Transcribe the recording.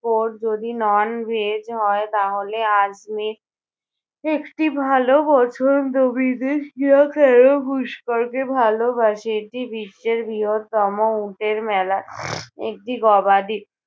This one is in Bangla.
core যদি non-veg হয় তাহলে আজমীর একটি ভালো পছন্দ বিদেশিরা কেন পুষ্করকে ভালোবাসে? এটি বিশ্বের বৃহত্তম উটের মেলা। একটি গবাদি